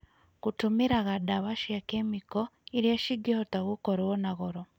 gũtũmĩraga ndawa cia kemiko, irĩa cingĩhota gũkorwo na goro